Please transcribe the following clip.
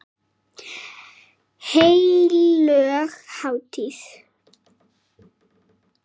Heilög hátíð.